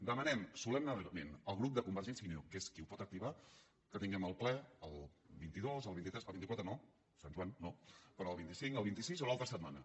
demanem solemnement al grup de convergència i unió que és qui ho pot activar que tinguem el ple el vint dos el vint tres el vint quatre no sant joan no però el vint cinc el vint sis o l’altra setmana